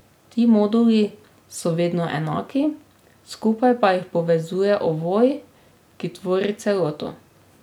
Ti moduli so vedno enaki, skupaj pa jih povezuje ovoj, ki tvori celoto.